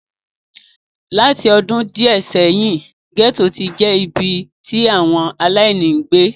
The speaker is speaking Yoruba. Láti ọdún díẹ̀ sẹ́yìn, gẹ́tò ti ń je ibi tí àwọn aláìní ń gbé.